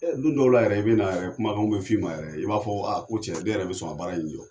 Don dɔw la yɛrɛ i bɛna, kumakanw bɛ f'i ma yɛrɛ, i b'a fɔ ko cɛ k'e yɛrɛ bɛ sɔn ka baara in jɔ.